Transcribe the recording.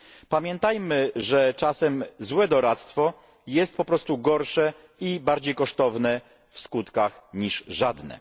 Pamiętajmy, że czasem złe doradztwo jest po prostu gorsze i bardziej kosztowne w skutkach niż żadne.